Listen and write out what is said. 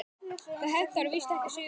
Það hentar víst ekki sauðfé.